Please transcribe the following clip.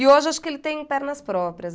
E hoje acho que ele tem pernas próprias.